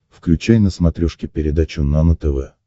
включай на смотрешке передачу нано тв